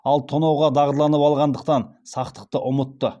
ал тонауға дағдыланып алғандықтан сақтықты ұмытты